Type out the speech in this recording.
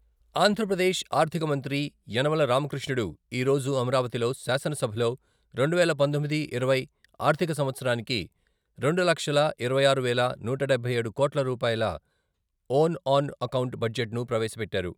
ఆంధ్రప్రదేశ్ ఆర్థిక మంత్రి యనమల రామకృష్ణుడు ఈరోజు అమరావతిలో శాసనసభలో రెండువేల పంతొమ్మిది, ఇరవై ఆర్ధిక సంవత్సరానికి రెండు లక్షల ఇరవై ఆరు వేల నూట డబ్బై ఏడు కోట్ల రూపాయల ఓన్ ఆన్ అకౌంట్ బడ్జెట్ను ప్రవేశపెట్టారు.